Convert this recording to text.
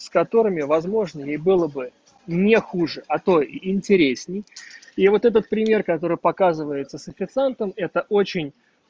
с которыми возможно и было бы не хуже а то интересней я вот этот пример который показывается с официантом это очень